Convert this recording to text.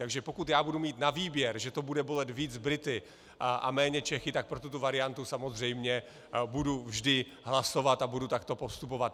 Takže pokud já budu mít na výběr, že to bude bolet víc Brity a méně Čechy, tak pro tuto variantu samozřejmě budu vždy hlasovat a budu takto postupovat.